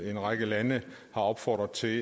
en række lande har opfordret til